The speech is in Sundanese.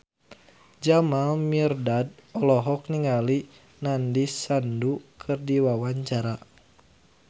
Jamal Mirdad olohok ningali Nandish Sandhu keur diwawancara